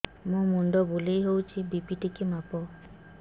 ମୋ ମୁଣ୍ଡ ବୁଲେଇ ହଉଚି ବି.ପି ଟିକେ ମାପ